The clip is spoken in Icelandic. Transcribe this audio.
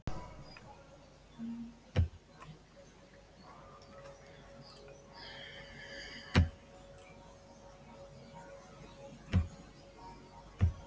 Guðni, innilega til hamingju með kosninguna, hvernig líður þér nú þegar þetta er yfirstaðið?